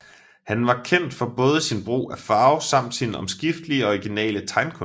Han var kendt for både sin brug af farve samt sine omskiftelige og originale tegnekunst